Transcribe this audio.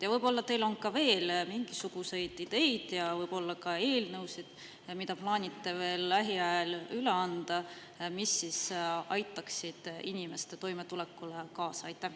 Ja võib-olla teil on veel mingisuguseid ideid ja võib-olla ka eelnõusid, mida plaanite veel lähiajal üle anda, mis aitaksid inimeste toimetulekule kaasa?